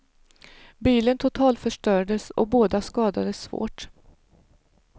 Bilen totalförstördes och båda skadades svårt.